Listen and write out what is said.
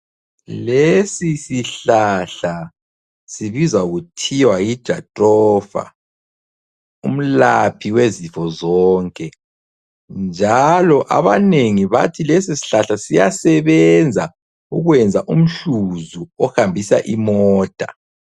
Lesisihlahla sibizwa kuthiwa yi Jathrofa, umlaphi wezifo zonke. Njalo abanengi bathi lesisihlahla siyasebenza ukwenza umhluzi ohambisa imota.